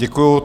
Děkuji.